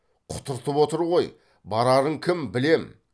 құтыртып отыр ғой барарың кім білем